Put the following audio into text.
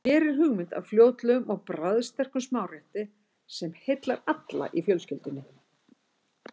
Hér er hugmynd að fljótlegum og bragðsterkum smárétti sem heillar alla í fjölskyldunni.